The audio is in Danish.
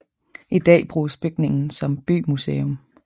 I dag bruges bygningen som bymuseum